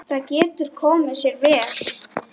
Það getur komið sér vel.